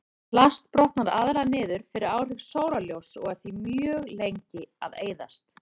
Plast brotnar aðallega niður fyrir áhrif sólarljóss og er því mjög lengi að eyðast.